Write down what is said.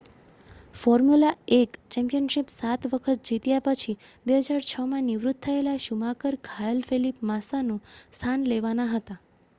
formula 1 championship 7 વખત જીત્યા પછી 2006માં નિવૃત્ત થયેલા શુમાકર ઘાયલ ફેલિપ માસ્સાનું સ્થાન લેવાના હતા